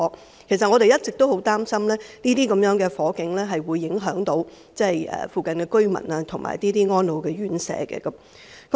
事實上，我們一直十分擔心，這些火警會影響附近居民和安老院舍。